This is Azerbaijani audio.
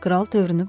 Kral tövrünü pozmadı.